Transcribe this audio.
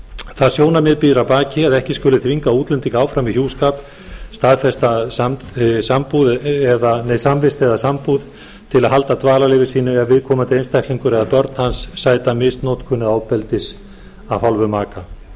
það sjónarmið býr að baki að ekki skuli þvinga útlending áfram í hjúskap staðfestri samvist eða sambúð til að halda dvalarleyfi sínu ef viðkomandi einstaklingur eða börn hans sæta misnotkun eða ofbeldi af hálfu maka tekur